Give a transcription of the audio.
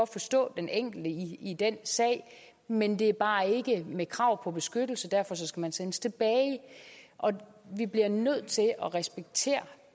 forstå den enkelte i den sag men det er bare ikke med krav på beskyttelse og derfor skal man sendes tilbage og vi bliver nødt til at respektere